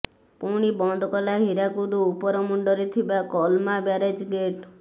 ପୁଣି ବନ୍ଦ କଲା ହୀରାକୁଦ ଉପର ମୁଣ୍ଡରେ ଥିବା କଲ୍ମା ବ୍ୟାରେଜ୍ ଗେଟ୍